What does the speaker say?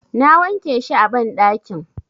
Na wanke shi a banɗakin.